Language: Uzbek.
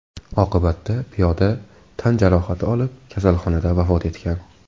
Oqibatda piyoda tan jarohati olib kasalxonada vafot etgan.